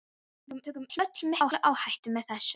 Við tökum öll mikla áhættu með þessu.